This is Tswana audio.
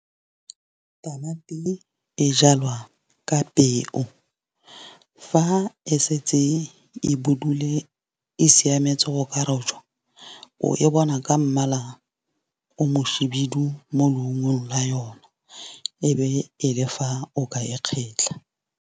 Tamati e jalwa ka peu fa e setse e budule e siametse go ka rojwa, o e bona ka mmala o moshibidu mo leungong la yona, e be e le fa o ka e kgetlha.